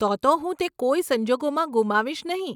તો તો હું તે કોઈ સંજોગમાં ગુમાવીશ નહીં.